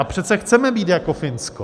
A přece chceme být jako Finsko.